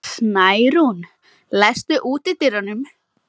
Snærún, læstu útidyrunum.